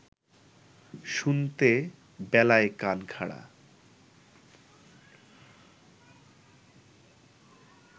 শুনতে বেলায় কান খাড়া